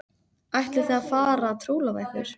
Ætlið þið að fara að trúlofa ykkur?